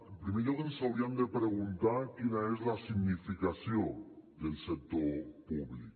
en primer lloc ens hauríem de preguntar quina és la significació del sector públic